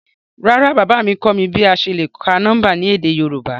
Rárá, baba mi kọ mi bi a ṣe le ka nọmba ni édé Yorùbá?